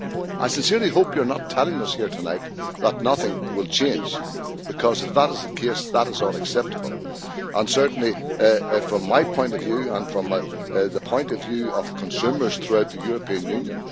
I sincerely hope you are not telling us here tonight that nothing will change, because if that is the case that is unacceptable, certainly from my point of view and from the point of view of consumers throughout the European Union.